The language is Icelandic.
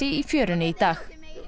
í fjörunni í dag